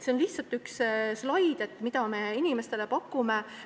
Siin on üks slaid selle kohta, mida me inimestele pakume.